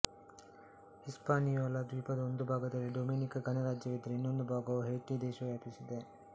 Hispaniola ದ್ವೀಪದ ಒಂದು ಭಾಗದಲ್ಲಿ ಡೊಮಿನಿಕ ಗಣರಾಜ್ಯವಿದ್ದರೆ ಇನ್ನೊಂದು ಭಾಗವನ್ನು ಹೈಟಿ ದೇಶವು ವ್ಯಾಪಿಸಿದೆ